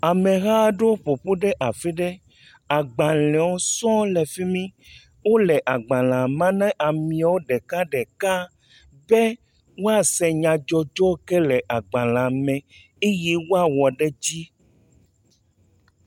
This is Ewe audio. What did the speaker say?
Ameha aɖewo ƒoƒu ɖe afi ɖe. agbalewo sɔŋ le fi mi. Wo le agbalea ma na ameawo ɖekaɖeka be woase nyadzɔdzɔ yi ke le agbalea me be woawɔ ɖe edzi.